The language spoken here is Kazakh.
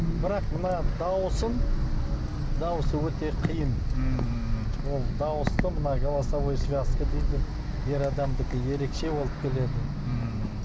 бірақ мына дауысын дауысы өте қиын ммм ол дауысты мына голосовой связка дейді ер адамдікі ерекше болып келеді ммм